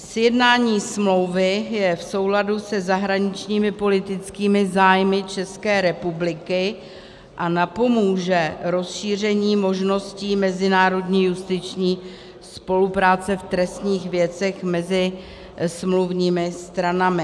Sjednání smlouvy je v souladu se zahraničními politickými zájmy České republiky a napomůže rozšíření možností mezinárodní justiční spolupráce v trestních věcech mezi smluvními stranami.